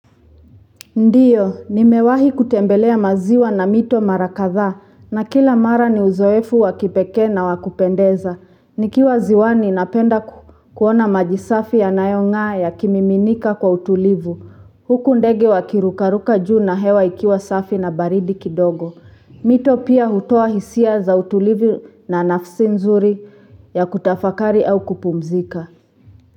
Ndiyo, nimewahi kutembelea maziwa na mito mara kadhaa na kila mara ni uzoefu wakipekee na wa kupendeza. Nikiwa ziwani napenda kuona maji safi yanayong'aa yakimiminika kwa utulivu. Huku ndege wakirukaruka juu na hewa ikiwa safi na baridi kidogo. Mito pia hutoa hisia za utulivu na nafsi nzuri ya kutafakari au kupumzika.